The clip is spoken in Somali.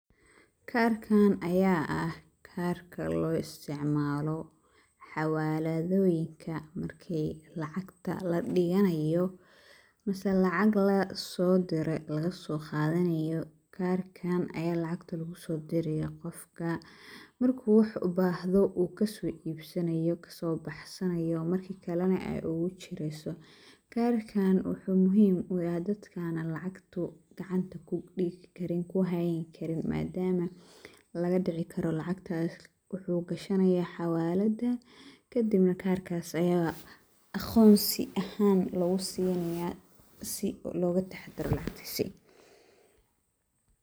Kaarkaan ayaa ah kaarka loo istacmaalo xawaaladooyinka markii lacagta la dhiganayo mise lacag la soodiray laga soo qaadanayo, karkaan ayaa lacagta loogu soo diraya qofka. Markuu wax ubaahado uu ka soo ibsanayo, ka soo baxsanayo markii kalena ay ugu chirayso. Karkaan wuxuu muhiim u yahay dadka aanu lacagta ku dhigi karin, ku haayn karin maadaama laga dhici karo lacagtaas. Wuxuu gashanayaa xawaalada kadibna kaarkas ayaa aqoonsi ahaan lagu siinayaa si oo loogu taxdiro lacagtiisa